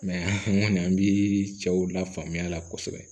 n kɔni an bi cɛw lafaamuya a la kosɛbɛ